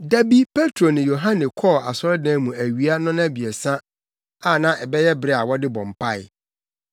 Da bi Petro ne Yohane kɔɔ asɔredan mu awia nnɔnabiɛsa a na ɛyɛ bere a wɔde bɔ mpae.